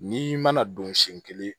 N'i mana don siɲɛ kelen